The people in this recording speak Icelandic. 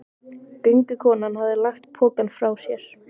Göngukonan hafði lagt pokann frá sér.